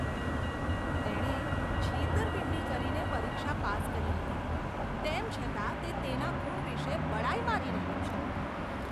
તેણે છેતરપિંડી કરીને પરીક્ષા પાસ કરી હતી, તેમ છતાં તે તેના ગુણ વિશે બડાઈ મારી રહ્યો છે.